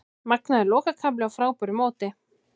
Magnaður lokakafli á frábæru móti